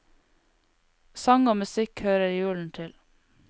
Sang og musikk hører julen til.